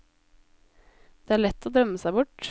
Det er lett å drømme seg bort.